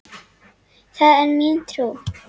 Það er mín trú.